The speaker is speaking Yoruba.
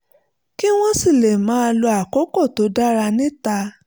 kí wọ́n sì lè máa lo àkókò tó dára níta